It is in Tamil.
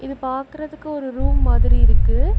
இது பாக்குறதுக்கு ஒரு ரூம் மாதிரி இருக்கு.